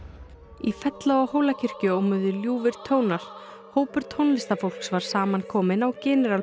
í fella og Hólakirkju ómuðu ljúfir tónar hópur tónlistarfólks var saman kominn á